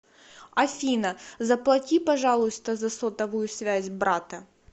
афина заплати пожалуйста за сотовую связь брата